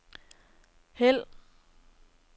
hæld